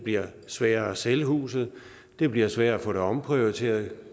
bliver sværere at sælge huset det bliver sværere at få det omprioriteret